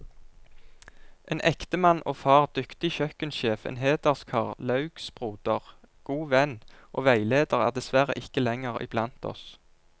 En ektemann og far, dyktig kjøkkensjef, en hederskar, laugsbroder, god venn og veileder er dessverre ikke lenger iblant oss.